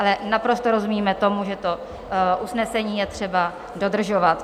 Ale naprosto rozumíme tomu, že to usnesení je třeba dodržovat.